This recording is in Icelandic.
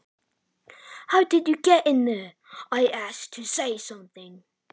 Hvernig komstu hingað inn? spurði ég til að segja eitthvað.